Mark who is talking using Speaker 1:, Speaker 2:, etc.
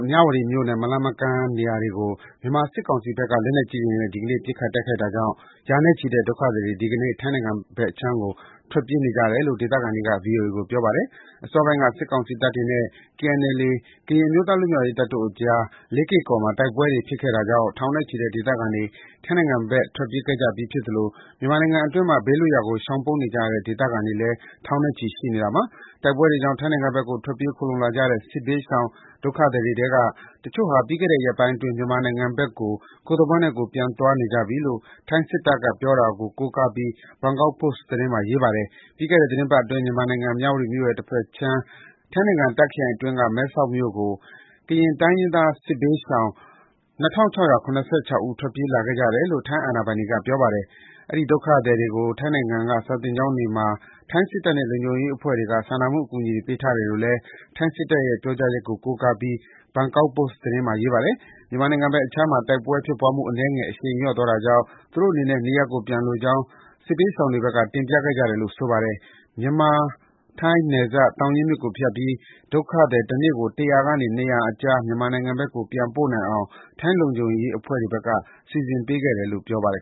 Speaker 1: မြဝတီမြို့နဲ့ မလှမ်းမကမ်း နေရာတွေကို မြန်မာစစ်ကောင်စီဘက်က လက်နက်ကြီးတွေနဲ့ ဒီကနေ့ ပစ်ခတ်တိုက်ခိုက်တာကြောင့် ရာနဲ့ချီတဲ့ ဒုက္ခသည်တွေ ဒီကနေ့ ထိုင်းနိုင်ငံဘက်အခြမ်းကို ထွက်ပြေးနေကြတယ်လို့ ဒေသခံတွေက ဗွီအိုအေကို ပြောပါတယ်။ အစောပိုင်းက စစ်ကောင်စီတပ်တွေနဲ့ KNLA ကရင်အမျိုးသား လွတ်မြောက်ရေးတပ်တို့အကြား လေးကေ့ကော်မှာ တိုက်ပွဲတွေ ဖြစ်ခဲ့တာကြောင့် ထောင်နဲ့ချီတဲ့ ဒေသခံတွေ ထိုင်းနိုင်ငံဘက် ထွက်ပြေးခဲ့ကြပြီးဖြစ်သလို မြန်မာနိုင်ငံအတွင်းမှာ ဘေးလွတ်ရာကို ရှောင်ပုန်းနေရတဲ့ ဒေသခံတွေလည်း ထောင်နဲ့ချီ ရှိနေတာပါ။ တိုက်ပွဲတွေကြောင့် ထိုင်းနိုင်ငံဘက်ကို ထွက်ပြေးခိုလှုံလာကြတဲ့ စစ်ဘေးရှောင် ဒုက္ခသည်တွေထဲက တချို့ဟာ ပြီးခဲ့တဲ့ရက်ပိုင်းအတွင်း မြန်မာနိုင်ငံဘက်ကို ကိုယ့်သဘောနဲ့ကိုယ် ပြန်သွားနေကြပြီလို့ ထိုင်းစစ်တပ်က ပြောတာကို ကိုးကားပြီး Bangkok Post သတင်းမှာ ရေးပါတယ်။ ပြီးခဲ့တဲ့သီတင်းပတ်အတွင်း မြန်မာနိုင်ငံ၊ မြဝတီမြို့ရဲ့ တဖက်ခြမ်း ထိုင်းနိုင်ငံ၊ တာ့ခ်ခရိုင်အတွင်းက မဲဆောက်မြို့ကို ကရင်တိုင်းရင်းသား စစ်ဘေးရှောင် ၂,၆၇၆ ဦး ထွက်ပြေးလာခဲ့ကြတယ်လို့ ထိုင်းအာဏာပိုင်တွေက ပြောပါတယ်။ အဲဒီဒုက္ခသည်တွေကို ထိုင်းနိုင်ငံအတွင်းက စာသင်ကျောင်းမှာ ထိုင်းစစ်တပ်နဲ့ နယ်ခြားလုံခြုံရေးအဖွဲ့တွေက စာနာမှု အကူအညီတွေ ပေးထားတယ်လို့လည်း ထိုင်းစစ်တပ်ရဲ့ ပြောဆိုချက်ကို ကိုးကားပြီး Bangkok Post သတင်းမှာ ရေးပါတယ်။ မြန်မာနိုင်ငံဘက်အခြမ်းမှာ တိုက်ပွဲဖြစ်ပွားမှု အနည်းငယ် အရှိန်လျော့သွားတာကြောင့် သူတို့အနေနဲ့ နေရပ်ကို ပြန်လိုကြောင်း စစ်ဘေးရှောင်တွေဘက်က တင်ပြခဲ့တယ်လို့ ဆိုပါတယ်။ ထိုင်း-မြန်မာနယ်စပ် သောင်ရင်းမြစ်ကိုဖြတ်ပြီး ဒုက္ခသည် တနေ့ကို ၁၀၀ ကနေ ၂၀၀ အကြား မြန်မာနိုင်ငံဘက်ကို ပြန်နိုင်အောင် ထိုင်းလုံခြုံရေးအဖွဲ့တွေဘက်က စီစဉ်ပေးခဲ့တယ်လို့ ဆိုပါတယ်